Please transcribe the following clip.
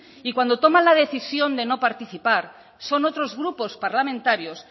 y cuando toman la decisión de no participar son otros grupos parlamentarios